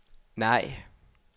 nej